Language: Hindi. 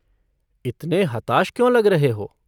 इतने हताश क्यों लग रहे हो?